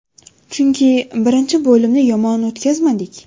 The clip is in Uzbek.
Chunki birinchi bo‘limni yomon o‘tkazmadik.